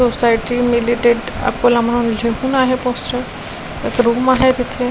Society मिलिटेट अकोला आहे post एक रूम आहे तिथे.